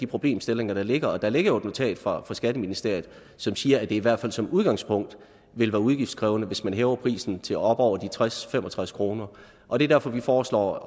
problemstillinger der ligger og der ligger jo et notat fra skatteministeriet som siger at det i hvert fald som udgangspunkt vil være udgiftskrævende hvis man hæver prisen til op over de tres til fem og tres kroner og det er derfor vi foreslår